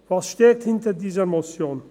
Was steckt hinter dieser Motion?